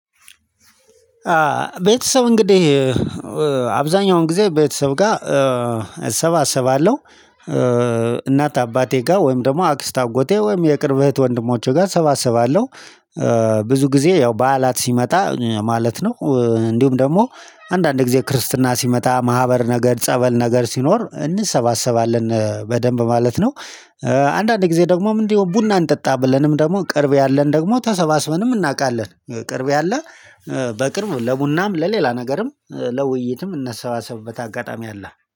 ቤተሰብ እንግዲህ አብዛኛውን ጊዜ ቤተሰብ ጋር እሰባሰባለሁ። እናት አባቴ ጋር ወይም ደግሞ አክስት አጎቴ ወይም የቅርብ እህት ወንድሞቼ ጋር እሰባስባለሁ። ብዙ ጊዜ ያው በዓላት ሲመጣ ማለት ነው እንዲሁም ደግሞ አንዳንድ ጊዜ ክርስትና ሲመጣ ማህበር ነገር ጸበል ነገር ሲኖር እንሰባሰባለን በደንብ ማለት ነው። አንዳንዴ ጊዜ ደግሞ ምንድነው? ቡና እንጠጣ ብለንም ደግሞ ቅርብ ያለን ደግሞ ተሰባስበንም እናውቃለን። ቅርብ ያለ በቅርብ ለቡናም ለሌላ ነገርም ለውይይትም እነሰባሰብበት አጋጣሚ አለ